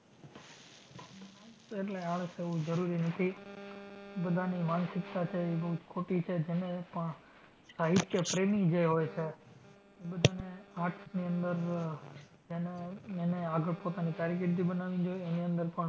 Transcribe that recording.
એટલે આળસ એવું જરૂરી નથી. બધાની માનસિકતા છે ઈ બઉ જ ખોટી છે. જેને પણ સાહિત્ય પ્રેમી જે હોય છે ઈ બધાને arts ની અંદર એને, એને આગળ પોતાની કારકિર્દી બનાવી જોઈ. એની અંદર પણ